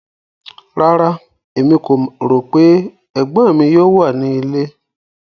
Rárá, Emi ko ro pe egbon mi yoo wa ni ile